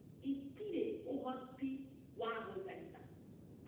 Itirĩ ũhoti wa gũthaitha